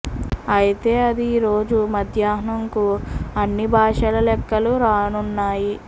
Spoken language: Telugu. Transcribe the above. అయితే అది ఈరోజు మధ్యాహ్నం కు అన్ని బాషల లెక్కలు రానున్నాయి